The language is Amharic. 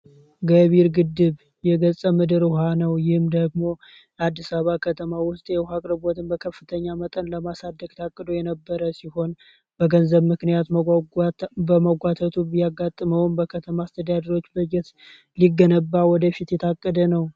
ገቢር ግድብ የገጠር ምድር ውሃ ነው። በ አዲስ አባባ ከተማ ውስጥ የውቅርበትን በከፍተኛ መጠን ለማሳደግ የነበረ ሲሆን፤ በገንዘብ ምክንያት መጓጓቱ ያጋጥመውን በከተማ አስተዳደር በጀት ሊገነባ ወደፊት የተገደ ነው ።